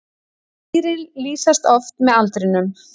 Dýrin lýsast oft með aldrinum.